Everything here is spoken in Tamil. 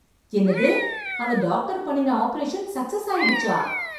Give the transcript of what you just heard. என்னது அந்த டாக்டர் பண்ணின ஆப்ரேஷன் சக்ஸஸ் ஆயிடுச்சா!